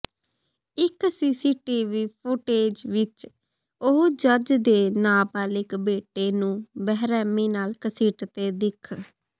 ਇੱਕ CCTV footage ਵਿੱਚ ਉਹ ਜੱਜ ਦੇ ਨਬਾਲਿਗ ਬੇਟੇ ਨੂੰ ਬੇਰਹਿਮੀ ਨਾਲ ਘਸੀਟਦੇ ਦਿੱਖ